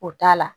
O t'a la